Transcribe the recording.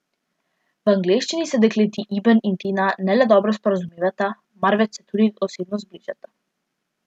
V angleščini se dekleti, Iben in Tina, ne le dobro sporazumevata, marveč se tudi osebno zbližata.